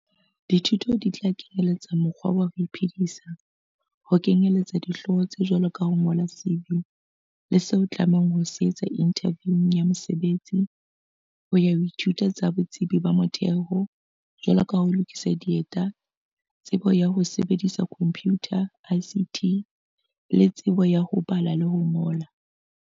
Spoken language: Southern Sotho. Dithuto di tla kenyeletsa mekgwa ya ho iphedisa - ho kenyeletsa dihlooho tse jwalo ka ho ngola CV le seo o tlamehang ho se etsa inthaviung ya mosebetsi, ho ya ho dithuto tsa botsebi ba motheo, jwalo ka ho lokisa dieta, tsebo ya ho sebedisa khomphiutha, ICT, le tsebo ya ho bala le ho ngola.